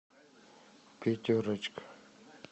пятерочка